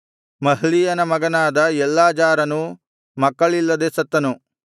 ಮಹ್ಲೀಯನ ಮಗನಾದ ಎಲ್ಲಾಜಾರನೂ ಮಕ್ಕಳಿಲ್ಲದೆ ಸತ್ತನು